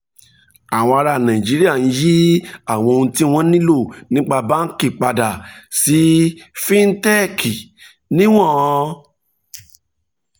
àwọn ará nàìjíríà ń yí um àwọn ohun tí wọ́n nílò nípa báńkì padà sí fíńtẹ́kì níwọ̀n